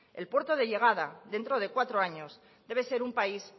el puerto de llegada dentro de cuatro años debe ser un país